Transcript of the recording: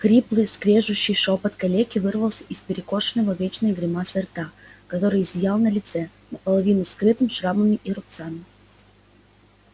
хриплый скрежещущий шёпот калеки вырвался из перекошенного вечной гримасой рта который зиял на лице наполовину скрытом шрамами и рубцами